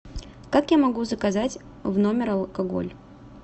как я могу заказать в номер алкоголь